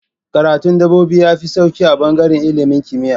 Karatu dabbobi yafi sauki a bangaran ilimin kimiya